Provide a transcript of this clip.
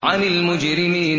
عَنِ الْمُجْرِمِينَ